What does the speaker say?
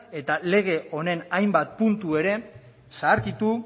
eta legen honen hainbat puntu ere zaharkitu